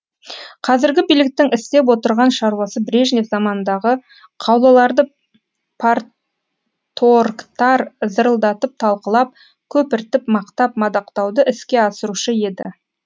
қазіргі биліктің істеп отырған шаруасы брежнев заманындағы қаулыларды парторгтар зырылдатып талқылап көпіртіп мақтап мадақтауды іске асырушы еді